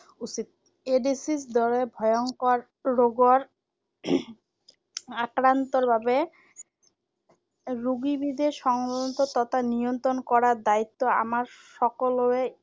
উচিত। এইড্‌ছৰ দৰে ভয়ংকৰ ৰোগৰ আক্ৰান্তৰ বাবে ৰোগীবিধে সংহত তথা নিয়ন্ত্ৰণ কৰাৰ দায়িত্ব আমাৰ সকলোৰে।